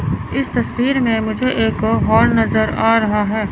इस तस्वीर में मुझे एक हॉल नजर आ रहा है।